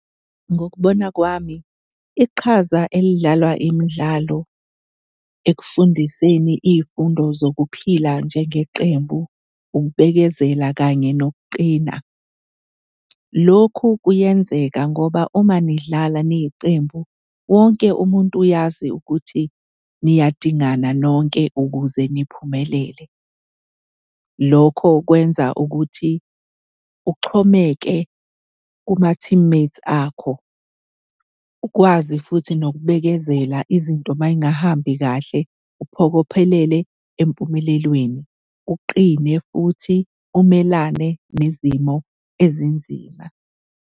Ngokubona kwami iqhaza elidlalwa imidlalo ekufundiseni iy'fundo zokuphila njengeqembu, ukubekezela kanye nokuqina. Lokhu kuyenzeka ngoba uma nidlala niyiqembu, wonke umuntu uyazi ukuthi niyadingana nonke ukuze niphumelele. Lokho kwenza ukuthi uxhomeke kuma-teammates akho, ukwazi futhi nokubekezela izinto may'ngahambi kahle uphokophelele empumelelweni, uqine futhi umelane nezimo ezinzima.